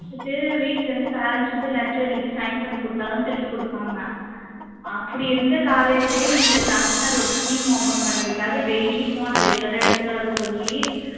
புடிச்சுட்டு வீட்டுல இருந்து parents வந்து letter எழுதி sign பண்ணி கொடுத்தா தான் திருப்பி கொடுப்பாங்க அப்படி இருந்த college உ இந்த தமிழ்நாடு ஒரு scheme open பண்ணதுக்காக daily phone அ regular ஆ எடுத்துட்டு வர சொல்லி